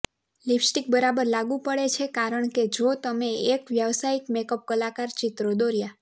lipstick બરાબર લાગુ પડે છે કારણ કે જો તમે એક વ્યાવસાયિક મેકઅપ કલાકાર ચિત્રો દોર્યા